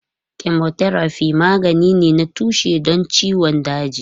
Chemotherapy magani ne na tushe don ciwon daji.